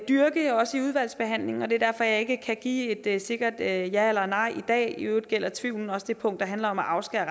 dyrke også i udvalgsbehandlingen og det er derfor jeg ikke kan give et sikkert ja eller eller nej i dag i øvrigt gælder tvivlen også det punkt der handler om at afskære